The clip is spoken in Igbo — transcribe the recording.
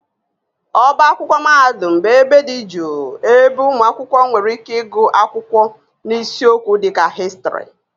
Ọbá akwụkwọ mahadum bụ ebe dị jụụ ebe ụmụ akwụkwọ nwere ike ịgụ akwụkwọ n'isiokwu dịka Histrị